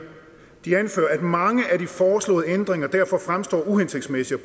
at mange af de foreslåede ændringer derfor fremstår uhensigtsmæssige